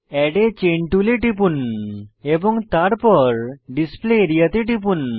add a chain টুলে টিপুন এবং তারপর ডিসপ্লে আরিয়া তে টিপুন